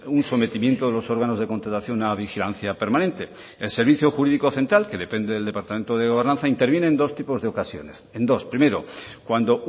un sometimiento de los órganos de contratación a vigilancia permanente el servicio jurídico central que depende del departamento de gobernanza interviene en dos tipos de ocasiones en dos primero cuando